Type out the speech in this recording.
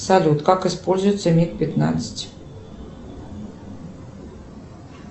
салют как используется миг пятнадцать